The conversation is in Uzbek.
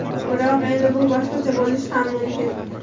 Biroq, endi bu boshqacha bo‘lishi ham mumkin.